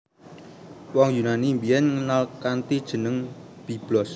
Wong Yunani biyen ngenal kanthi jeneng Byblos